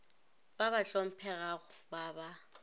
ba ba hlomphegago ba ba